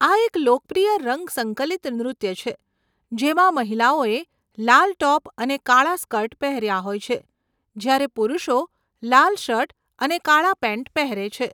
આ એક લોકપ્રિય રંગ સંકલિત નૃત્ય છે જેમાં મહિલાઓએ લાલ ટોપ અને કાળા સ્કર્ટ પહેર્યા હોય છે, જ્યારે પુરુષો લાલ શર્ટ અને કાળા પેન્ટ પહેરે છે.